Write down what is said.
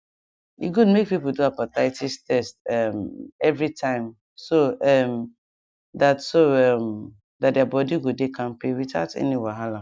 e good make people do hepatitis test um every time so um that so um that their body go dey kampe without any wahala